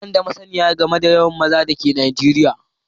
Bani da masniyar game da yawan maza da ke Najeriya